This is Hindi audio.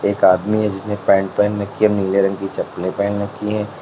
एक आदमी है जिसने पैंट पहन रखी है नीले रंग की चप्पलें पहन रखी हैं।